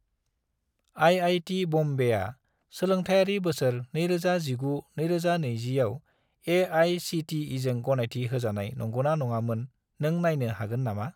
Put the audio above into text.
IIT. बम्बेआ सोलोंथायारि बोसोर 2019 - 2020 आव ए.आइ.सि.टि.इ.जों गनायथि होजानाय नंगौना नङामोन, नों नायनो हागोन नामा?